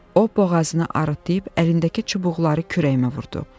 O boğazını arıtdıyıb əlindəki çubuqları kürəyimə vurdu.